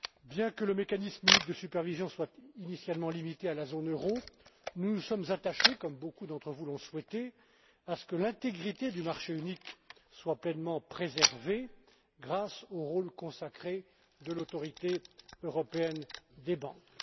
Bien que le mécanisme unique de supervision soit initialement limité à la zone euro, nous nous sommes attachés, comme beaucoup d'entre vous l'ont souhaité, à ce que l'intégrité du marché unique soit pleinement préservée, grâce au rôle consacré de l'Autorité européenne des banques.